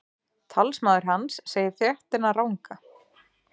Talsmaður hans segir fréttina ranga